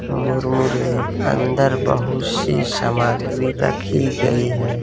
मुरमुरे अंदर बहुत सी सामग्री रखी गई है।